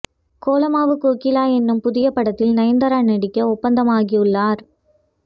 கோலமாவு கோகிலா எனும் புதிய படத்தில் நயன்தாரா நடிக்க ஒப்பந்தம் ஆகியுள்ளார்